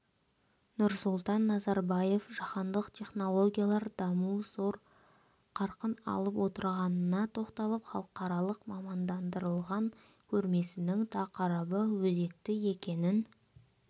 нұрсұлтан назарбаев жаһандық технологиялық даму зор қарқын алып отырғанына тоқталып халықаралық мамандандырылған көрмесінің тақырыбы өзекті екенін